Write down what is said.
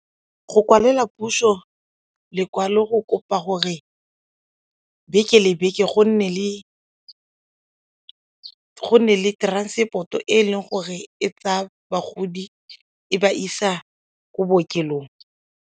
Go kwalela puso lekwalo go kopa gore beke le beke go nne le transport-o e leng gore e tsaya bagodi go ba isa ko bookelong.